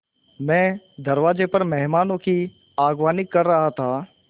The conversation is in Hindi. मैं दरवाज़े पर मेहमानों की अगवानी कर रहा था